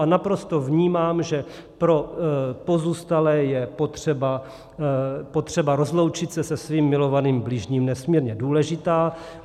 A naprosto vnímám, že pro pozůstalé je potřeba rozloučit se se svým milovaným bližním nesmírně důležitá.